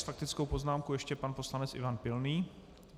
S faktickou poznámkou ještě pan poslanec Ivan Pilný.